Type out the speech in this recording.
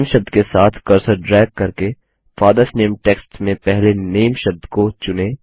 नामे शब्द के साथ कर्सर ड्रैग करके फादर्स नामे टेक्स्ट में पहले नामे शब्द को चुनें